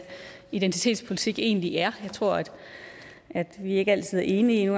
identitetspolitik egentlig er jeg tror at at vi ikke altid er enige